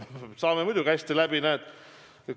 Me saame muidugi hästi läbi.